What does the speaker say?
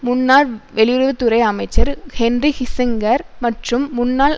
முன்னாள் வெளியுறவு துறை அமைச்சர் ஹென்றி ஹிசிங்கர் மற்றும் முன்னாள்